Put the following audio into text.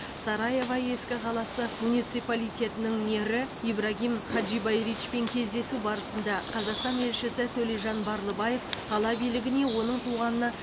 сараево ескі қаласы муниципалитетінің мэрі ибрагим хаджибайричпен кездесу барысында қазақстан елшісі төлежан барлыбаев қала билігіне оның туғанына